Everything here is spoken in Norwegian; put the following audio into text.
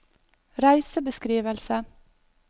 reisebeskrivelse